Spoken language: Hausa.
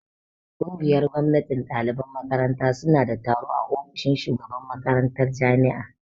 Ƙungiyar gwamnatin ɗaliban makaranta suna da taro a ofishin shugaban makarantar jami'a